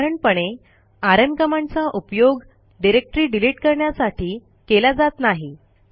साधारणपणे आरएम कमांडचा उपयोग डिरेक्टरी डिलिट करण्यासाठी केला जात नाही